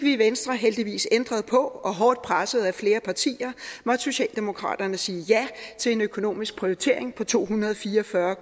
i venstre heldigvis ændret på og hårdt presset af flere partier måtte socialdemokraterne sige ja til en økonomisk prioritering på to hundrede og fire og fyrre